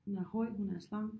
Hun er høj hun er slank